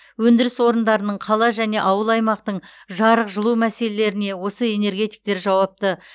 өндіріс орындарының қала және ауыл аймақтың жарық жылу мәселелеріне осы энергетиктер жауапты